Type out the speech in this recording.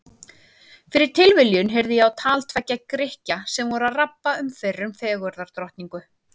Fyrir tilviljun heyrði ég á tal tveggja Grikkja sem voru að rabba um fyrrum fegurðardrottningu.